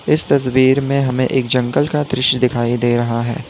इस तस्वीर में हमें एक जंगल का दृश्य दिखाई दे रहा है।